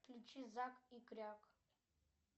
включи зак и кряк